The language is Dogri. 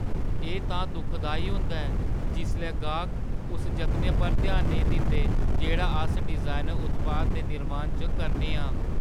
एह् तां दुखदाई होंदा ऐ जिसलै गाह्क उस जतनै पर ध्यान नेईं दिंदे जेह्ड़ा अस डिजाइनर उत्पाद दे निर्माण च करने आं।